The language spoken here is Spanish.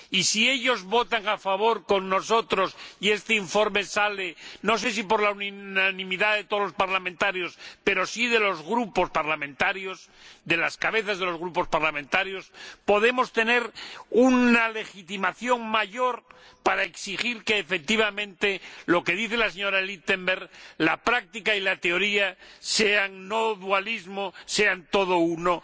Si ellos votan a favor, con nosotros, y este informe se aprueba —no sé si por la unanimidad de todos los parlamentarios pero sí de los grupos parlamentarios, de las cabezas de los grupos parlamentarios—, podemos tener una legitimación mayor para exigir que, efectivamente, como dice la señora Lichtenberger, la práctica y la teoría no sean dualismo, sean todo uno